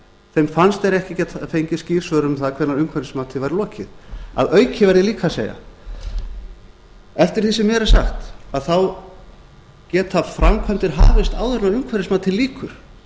þeim fannst þeir ekki geta fengið skýr svör um það hvenær umhverfismati væri lokið að auki verð ég líka að segja eftir því sem mér er sagt geta framkvæmdir hafist áður en umhverfismati lýkur